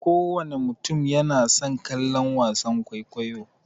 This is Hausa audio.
Kowana mutum yana son kallon wasan kwaikwayo.